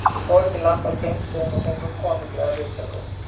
Við fórum í land á tveimur stöðum og fengum konunglegar viðtökur.